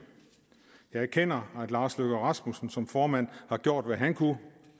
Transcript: jeg erkender herre lars løkke rasmussen som formand har gjort hvad han kunne